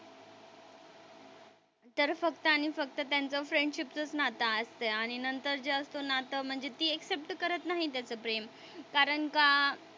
तर फक्त आणि फक्त त्यांचं फ्रेंडशिपचंच नातं असतंय आणि नंतर जे असतो ना तर म्हणजे ती एक्सेप्ट करत नाही त्याचं प्रेम. कारण का,